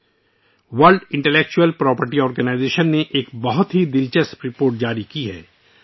دانشورانہ املاک کی عالمی تنظیم نے ایک انتہائی دلچسپ رپورٹ جاری کی ہے